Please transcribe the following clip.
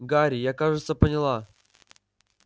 гарри я кажется поняла